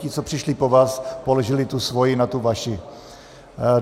Ti, co přišli po vás, položili tu svoji na tu vaši.